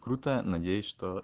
крутая надеюсь что